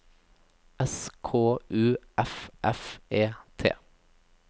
S K U F F E T